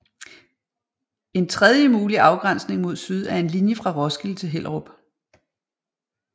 En tredje mulig afgrænsning mod syd er en linje fra Roskilde til Hellerup